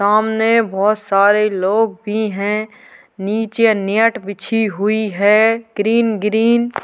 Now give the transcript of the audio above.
सामने बहोत सारे लोग भी हैं। नीचे नेट बिछी हुई है ग्रीन -ग्रीन ।